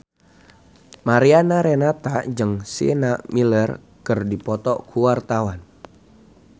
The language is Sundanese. Mariana Renata jeung Sienna Miller keur dipoto ku wartawan